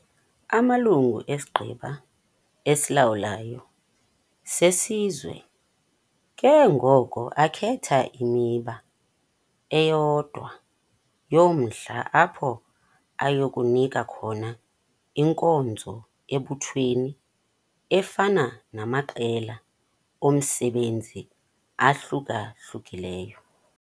Amalungu esiGqeba esiLawulayo seSizwe ke ngoko akhetha imiba eyodwa yomdla apho aya kunika khona inkonzo ebuthweni efana namaqela omsebenzi ahluka-hlukileyo.